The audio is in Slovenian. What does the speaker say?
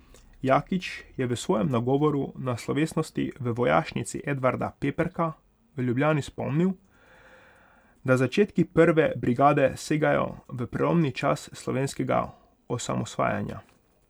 Jakič je v svojem nagovoru na slovesnosti v Vojašnici Edvarda Peperka v Ljubljani spomnil, da začetki prve brigade segajo v prelomni čas slovenskega osamosvajanja.